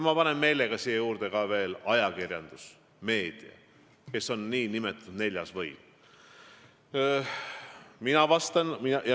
Ma panen meelega siia juurde veel ajakirjanduse, meedia, kes on nn neljas võim.